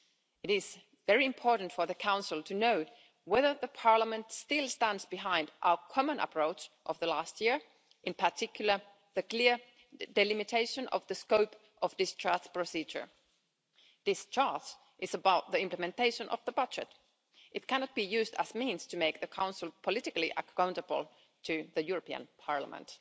It is very important for the Council to know whether Parliament still stands behind our common approach of the last year, in particular the clear delimitation of the scope of the discharge procedure. Discharge is about the implementation of the budget. It cannot be used as a means to make the Council politically accountable to the European Parliament.